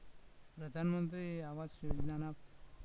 પ્રધાનમંત્રી આવાસ યોજનામાં